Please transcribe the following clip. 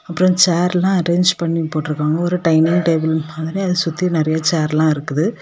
அப்றொ சேர்ல அரேஞ்ச் பண்ணி போட்டு இருக்காங்க ஒரு டைனிங் டேபிள் மாதிரி அதை சுத்தி நெறைய சேர்ல இருக்குது.